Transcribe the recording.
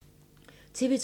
TV 2